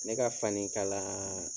Ne ka fani kala